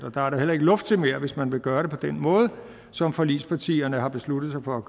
og der er da heller ikke luft til mere hvis man vil gøre det på den måde som forligspartierne har besluttet sig for